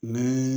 Ni